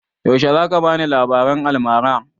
Yaushe za ka bani labaran almara?